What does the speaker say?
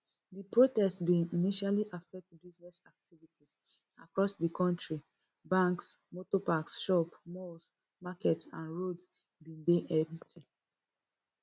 di protest bin initially affect business activities across di kontri banks motor parks shops malls markets and roads bin dey empty